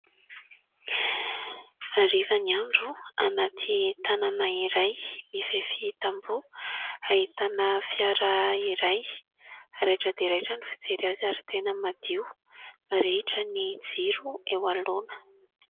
Hariva ny andro anaty tanàna iray mifefy tamboho ahitana fiara iray raitra dia raitra ny fijery azy ary tena madio, mirehitra ny jiro eo anoloana.